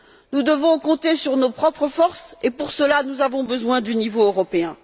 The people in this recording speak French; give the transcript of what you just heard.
Nous devons compter sur nos propres forces et pour cela, nous avons besoin du niveau européen.